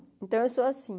Então, eu sou assim.